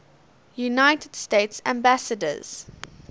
united states ambassadors